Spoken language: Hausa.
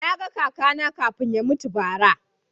Na ga kaka na kafin ya mutu bara